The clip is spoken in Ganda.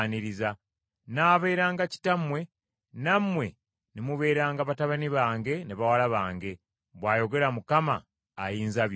Era “nnaabeeranga Kitammwe, nammwe ne mubeeranga batabani bange ne bawala bange,” bw’ayogera Mukama Ayinzabyonna.